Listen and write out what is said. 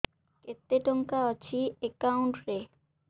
କେତେ ଟଙ୍କା ଅଛି ଏକାଉଣ୍ଟ୍ ରେ